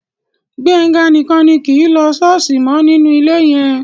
Gbénga nìkan ni kì í lọ ṣọ́ọ̀ṣì mọ́ nínú ilé yẹn